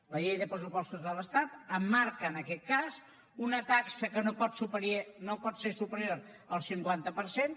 la llei de pressupostos de l’estat em marca en aquest cas una taxa que no pot ser superior al cinquanta per cent